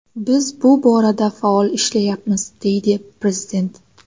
Biz bu borada faol ishlayapmiz”, deydi prezident.